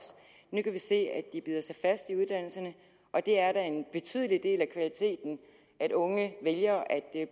nu kan vi se at de bider sig fast i uddannelserne og det er da en betydelig del af kvaliteten at unge vælger at